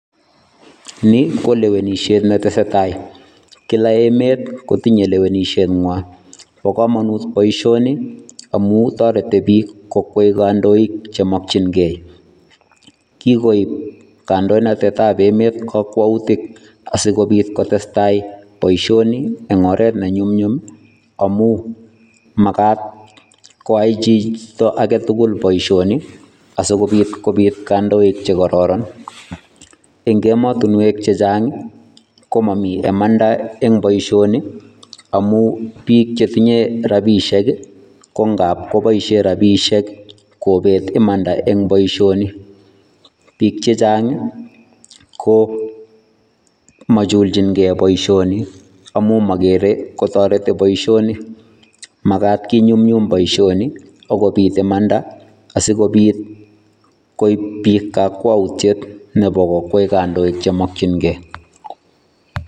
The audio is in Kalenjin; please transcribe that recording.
Ni ko lewenisiet ne tesetai, kila emet kotinye lewenishengwa, bo kamanut boisioni amu toreti piik kokwei kandoik chemokchinkei, kikoib kandoinatetab emet kakwautik asi kobit kotestai boisioni eng oret ne nyumnyum ii, amu makat koa chito ake tugul boisioni, asikobit kobit kandoik che kororon, eng emotinwek che chang ii, ko momi imanda eng boisioni, amu piik che tinye rabiisiek ii, ko ngap koboisie rabiisiek kobet imanda eng boisioni. Piik che chang ii, ko machulchinkei boisioni amu mokere kotoreti boisioni, makat kinyumnyum boisioni ak kobit imanda asi kobit koib piik kakwautiet nebo kokwei kandoik che mokchinkei.